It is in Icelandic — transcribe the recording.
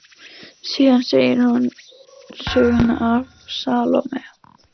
Síðan segir hún mér söguna af Salóme.